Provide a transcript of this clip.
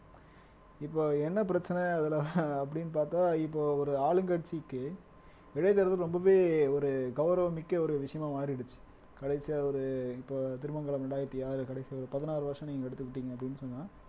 இப்ப என்ன பிரச்சனை அதுல அப்படின்னு பார்த்தா இப்போ ஒரு ஆளுங்கட்சிக்கு இடைத்தேர்தல் ரொம்பவே ஒரு கௌரவமிக்க ஒரு விஷயமா மாறிடுச்சு கடைசியா ஒரு இப்ப திருமங்கலம் இரண்டாயிரத்தி ஆறுல கடைசியா ஒரு பதினாறு வருஷம் நீங்க எடுத்துக்கிட்டீங்க அப்படின்னு சொன்னா